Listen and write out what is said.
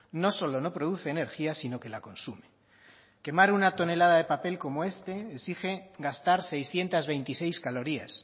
no solo no produce energía sino que la consume quemar una tonelada de papel como este exige gastar seiscientos veintiséis calorías